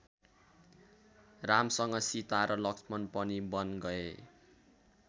रामसँग सीता र लक्ष्मण पनि वन गए।